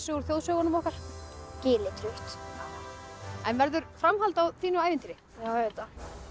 úr þjóðsögunum okkar Gilitrutt en verður framhald á þínu ævintýri auðvitað